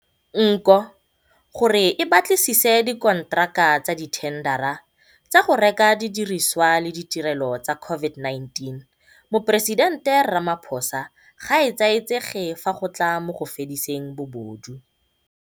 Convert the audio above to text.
Nko, gore e batlisise dikonteraka tsa dithendara tsa go reka didirisiwa le ditirelo tsa COVID-19, Moporesidente Ramaphosa ga a etsaetsege fa go tla mo go fediseng bobodu.